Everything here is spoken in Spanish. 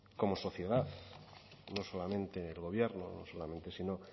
como sociedad no solamente el gobierno no solamente